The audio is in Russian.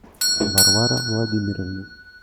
варвара владимировна